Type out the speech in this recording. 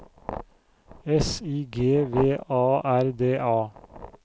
S I G V A R D A